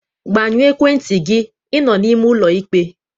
Gbanyụọ ekwentị gị, ịnọ n'ime ụlọ ikpe!